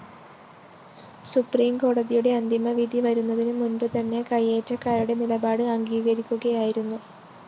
സുപ്രീംകോടതിയുടെ അന്തിമവിധി വരുന്നതിന് മുന്‍പ് തന്നെ കൈയേറ്റക്കാരുടെ നിലപാട് അംഗീകരിക്കുകയായിരുന്നു